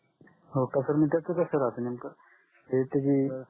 हो का sir मंग त्यात कास असतंय नेमकं त्याजी